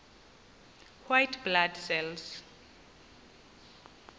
white blood cells